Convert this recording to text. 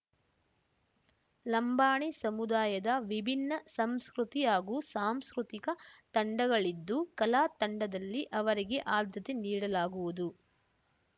ಲಂಬಾಣಿ ಸಮುದಾಯದ ವಿಭಿನ್ನ ಸಂಸ್ಕೃತಿ ಹಾಗೂ ಸಾಂಸ್ಕೃತಿಕ ತಂಡಗಳಿದ್ದು ಕಲಾ ತಂಡದಲ್ಲಿ ಅವರಿಗೆ ಆದ್ಯತೆ ನೀಡಲಾಗುವುದು